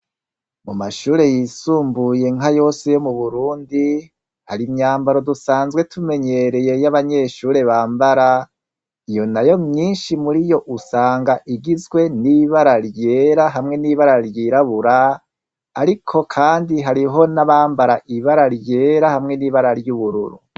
Mu mashure yisumbuye nka yose yo mu Burundi, hari imyambaro dusanzwe tumenyereye y'abanyeshure bambara, iyo nayo myinshi muri yo usanga igizwe n'ibara ryera hamwe n'ibara ryirabura, ariko kandi hariho n'abambara ibara ryera hamwe n'ibara ry'ubururu.